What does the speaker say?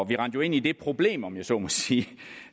vi rendte jo ind i det problem om jeg så må sige